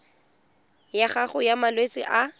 ya gago ya malwetse a